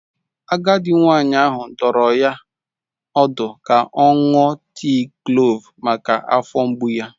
Agadi nwanyị ahụ dụrụ ya ọdụ ka ọ ṅụọ tii klove maka afọ mgbu ya.